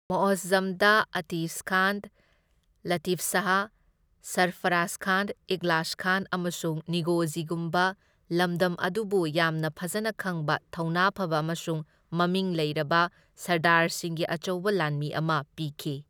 ꯃꯨꯑꯖꯖꯝꯗ ꯑꯇꯤꯁꯈꯥꯟ, ꯂꯇꯤꯐꯁꯥꯍ, ꯁꯔꯐꯔꯖꯈꯥꯟ, ꯏꯈꯂꯥꯁꯈꯥꯟ ꯑꯃꯁꯨꯡ ꯅꯥꯒꯣꯖꯤꯒꯨꯝꯕ ꯂꯝꯗꯝ ꯑꯗꯨꯕꯨ ꯌꯥꯝꯅ ꯐꯖꯅ ꯈꯪꯕ, ꯊꯧꯅꯥ ꯐꯕ ꯑꯃꯁꯨꯡ ꯃꯃꯤꯡ ꯂꯩꯔꯕ ꯁꯔꯗꯥꯔꯁꯤꯡꯒꯤ ꯑꯆꯧꯕ ꯂꯥꯟꯃꯤ ꯑꯃ ꯄꯤꯈꯤ꯫